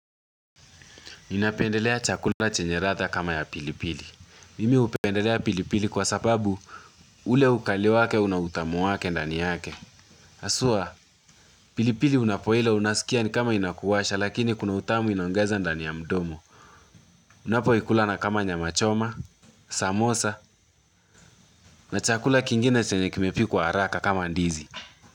Ninapendelea chakula chenye ratha kama ya pilipili. Mimi upendelea pilipili kwa sababu ule ukali wake unautamu wake ndani yake. Aswa, pilipili unapoila unasikia ni kama inakuwasha lakini kuna utamu inaongeza ndani ya mdomo. Unapo ikulana kama nyamachoma, samosa na chakula kingine chenye kimepi kwa haraka kama ndizi.